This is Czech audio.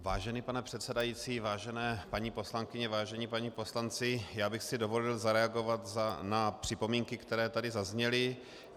Vážený pane předsedající, vážené paní poslankyně, vážení páni poslanci, já bych si dovolil zareagovat na připomínky, které tady zazněly.